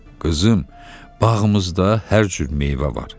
Qızım, bağımızda hər cür meyvə var.